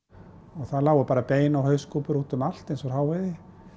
það voru bara bein og hauskúpur út um allt eins og hráviði